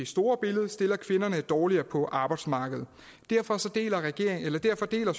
store billede stiller kvinderne dårligere på arbejdsmarkedet derfor derfor deler